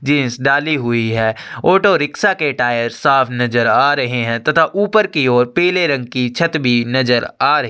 Jeans डाली हुई auto rickshaw के टायर साफ़ नज़र आ रहे है तथा ऊपर की ओर पिले रंग की छत भी नज़र आ रही है।